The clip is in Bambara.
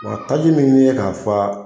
Wa taji min nin ye k'a fa